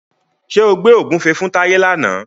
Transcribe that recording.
Ṣé o gbẹ́ ògúnfe fún Táyé làna?